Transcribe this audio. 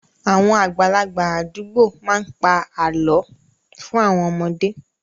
Àwọn àgbàlagbà àdúgbò má ń pa àlọ́ fún àwọn ọmọdé